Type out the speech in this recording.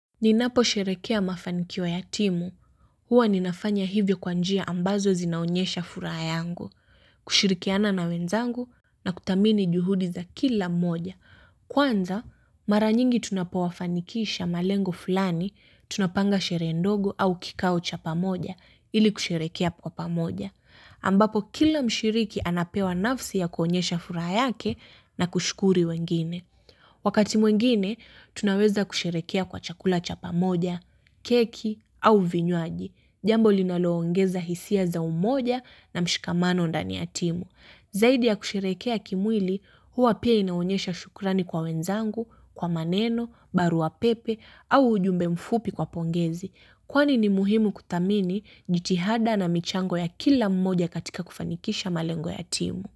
Ninaposherehekea mafanikio ya timu huwa ninafanya hivyo kwa njia ambazo zinaonyesha furaha yangu kushirikiana na wenzangu na kuthamini juhudi za kila mmoja kwanza mara nyingi tunapowafanikisha malengo fulani tunapanga sherehe ndogo au kikao cha pamoja ili kusherehekea kwa pamoja ambapo kila mshiriki anapewa nafasi ya kuonyesha furaha yake na kushukuru wengine. Wakati mwengine, tunaweza kusherehekea kwa chakula cha pamoja, keki au vinywaji. Jambo linaloongeza hisia za umoja na mshikamano ndani ya timu. Zaidi ya kusherehekea kimwili, huwa pia inaonyesha shukurani kwa wenzangu, kwa maneno, barua pepe au ujumbe mfupi kwa pongezi. Kwani ni muhimu kuthamini jitihada na michango ya kila mmoja katika kufanikisha malengo ya timu.